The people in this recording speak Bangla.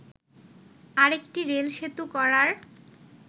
আরেকটি রেলসেতু করার